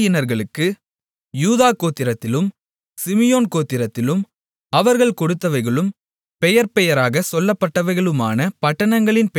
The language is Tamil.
யூதா கோத்திரத்திலும் சிமியோன் கோத்திரத்திலும் அவர்கள் கொடுத்தவைகளும் பெயர்பெயராகச் சொல்லப்பட்டவைகளுமான பட்டணங்களின் பெயர்களாவன